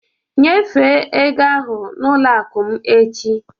Nyefee ego ahụ n'ụlọ akụ m echi